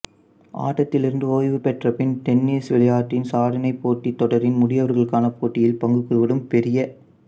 ஆட்டத்திலிருந்து ஓய்வு பெற்ற பின் டென்னிசு விளையாட்டின் சாதனைப்போட்டி தொடரின் முதியவர்களுக்கான போட்டியில் பங்குகொள்வதும் பெரிய